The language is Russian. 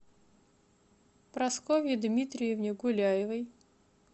прасковье дмитриевне гуляевой